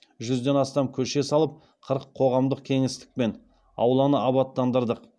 жүзден астам көше салып қырық қоғамдық кеңістік пен ауланы абаттандырдық